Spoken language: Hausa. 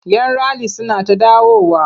Yan rali suna ta dawowa.